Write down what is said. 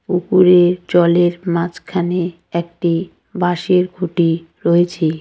পুকুরে জলের মাঝখানে একটি বাঁশের খুঁটি রয়েছে।